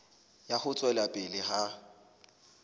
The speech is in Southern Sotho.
ya ho tswela pele ha